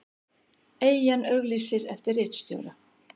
Eyjan auglýsir eftir ritstjóra